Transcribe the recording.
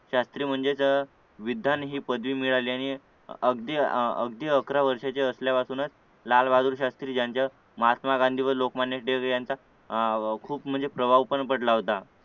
शास्त्री म्हणजे अह विधान ही पदवी मिळाल्याने अगदी अकरा वर्षाचे असल्यापासूनच लालबहादूर शास्त्री यांच्या महात्मा गांधी व लोकमान्य टिळक यांचा अह खूप म्हणजे प्रवाह पण पडला होता